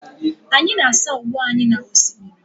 Anyị na-asa uwe anyị n'osimiri.